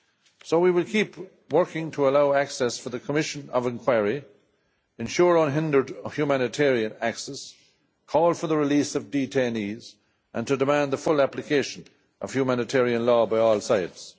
So we will keep on working to allow access for the commission of inquiry, ensure unhindered humanitarian access, call for the release of detainees, and demand the full application of humanitarian law by all sides.